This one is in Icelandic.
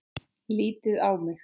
Lítið á mig!